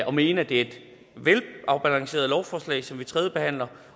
og mene at det er et velafbalanceret lovforslag som vi tredjebehandler